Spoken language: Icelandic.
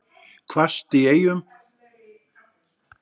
Hvasst í Eyjum